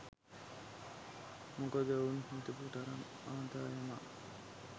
මොකද ඔවුන් හිතපු තරම් ආදායමක්